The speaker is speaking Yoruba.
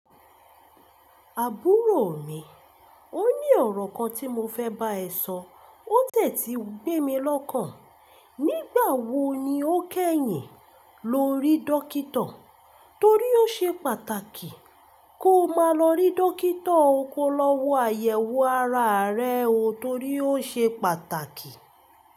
Àbúrò mi, ó ní ọ̀rọ̀ kan tí mo fẹ́ bá ẹ sọ, ó tè ti gbé mi lọ́kàn. Nígbà wo ni o kẹ́yìn lọ rí dókítà? Torí ó ṣe pàtàkì ko máa lọ rí dókítà o ko lọ́wọ́ àyẹ̀wò ara rẹ o torí ó ṣe pàtàkì.